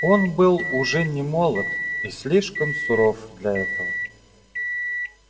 он был уже немолод и слишком суров для этого